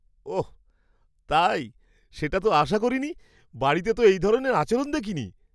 ওঃ তাই, সেটা তো আশা করিনি! বাড়িতে তো এই ধরনের আচরণ দেখিনি।